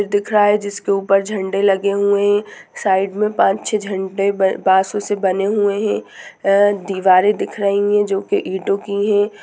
यह दिख रहा जिसके ऊपर झडे लगे हुए है साइड पाच छे बासो बन्दे हुए है दीवारे दिख रही है जो की ईटो की है।